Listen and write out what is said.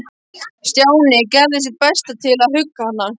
Stjáni gerði sitt besta til að hugga hana.